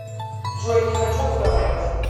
джой не хочу разговаривать